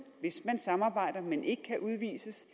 hvis man samarbejder men ikke kan udvises